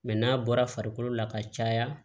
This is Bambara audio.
Mɛ n'a bɔra farikolo la ka caya